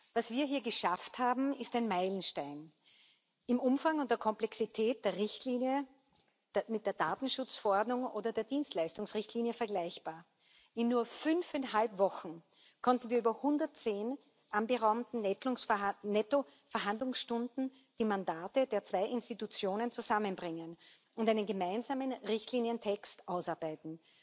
Was wir hier geschafft haben, ist ein Meilenstein, im Umfang und der Komplexität der Richtlinie mit der Datenschutzverordnung oder der Dienstleistungsrichtlinie vergleichbar. In nur fünfeinhalb Wochen konnten wir in 110 anberaumten Nettoverhandlungsstunden die Mandate der zwei Institutionen zusammenbringen und einen gemeinsamen Richtlinientext ausarbeiten.